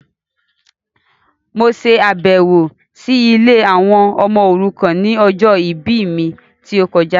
Mo ṣàbẹ̀wọ̀ si ilé àwọn ọmọ òrukàn ni ọjọ ìbí mi ti o kojá